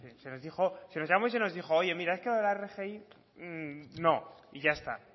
se nos llamó y se nos dijo oye mira esto de la rgi no y ya está